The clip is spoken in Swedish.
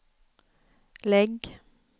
lägg